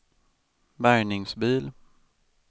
bärgningsbil